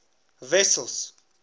wessels